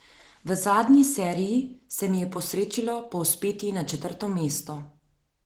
V zadnji seriji se mi je posrečilo povzpeti na četrto mesto.